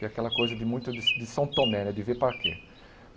Que é aquela coisa de muito de de São Tomé né, de ver para crer.